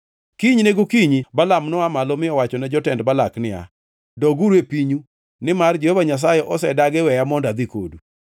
Kinyne gokinyi Balaam noa malo mi owachone jotend Balak niya, “Doguru e pinyu, nimar Jehova Nyasaye osedagi weya mondo adhi kodu.”